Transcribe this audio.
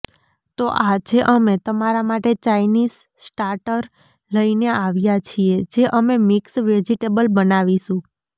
તો આજે અમે તમારા માટે ચાઇનીસ સ્ટાર્ટર લઇને આવ્યા છીએ જે અમે મિક્સ વેજીટેબલ બનાવીશું